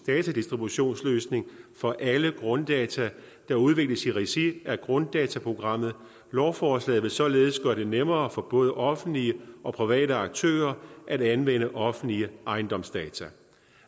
datadistributionsløsning for alle grunddata der udvikles i regi af grunddataprogrammet lovforslaget vil således gøre det nemmere for både offentlige og private aktører at anvende offentlige ejendomsdata